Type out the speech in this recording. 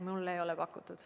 Mulle ei ole pakutud.